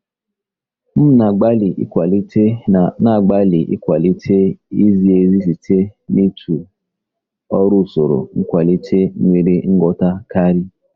M na-agbalị ịkwalite na-agbalị ịkwalite izi ezi site n'ịtụ aro usoro nkwalite nwere nghọta karị.